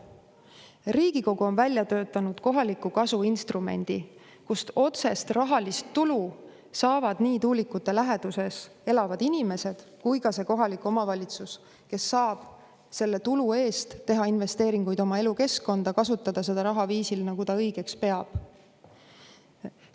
Riigikogu on välja töötanud kohaliku kasu instrumendi, tänu millele otsest rahalist tulu saavad nii tuulikute läheduses elavad inimesed kui ka kohalik omavalitsus, kes saab selle tulu eest teha investeeringuid oma elukeskkonda, kasutada seda raha viisil, nagu ta õigeks peab.